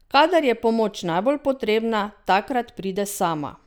Kadar je pomoč najbolj potrebna, takrat pride sama.